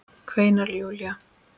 kveinar Júlía.